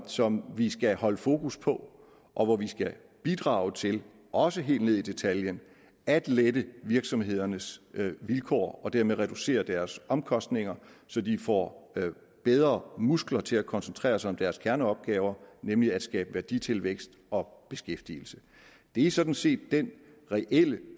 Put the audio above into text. som vi skal holde fokus på og hvor vi skal bidrage til også helt ned i detaljen at lette virksomhedernes vilkår og dermed reducere deres omkostninger så de får bedre muskler til at kunne koncentrere sig om deres kerneopgaver nemlig at skabe værditilvækst og beskæftigelse det er sådan set den reelle